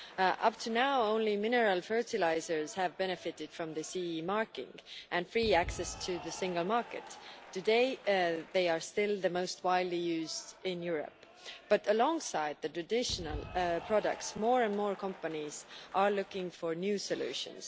Up until now, only mineral fertilisers have benefited from the CE marking and free access to the single market. Today, they are still the most widely used in Europe, but alongside the traditional products more and more companies are looking for new solutions.